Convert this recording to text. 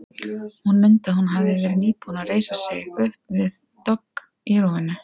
Hún mundi að hún hafði verið nýbúin að reisa sig upp við dogg í rúminu.